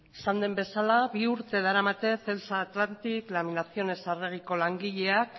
eskerrik asko esan den bezala bi urte daramate celsa atlantic laminaciones arreguiko langileak